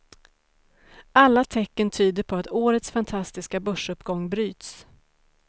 Alla tecken tyder på att årets fantastiska börsuppgång bryts.